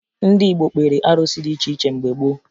Ndị Igbo kpeere arụsị dị iche iche mgbe gboo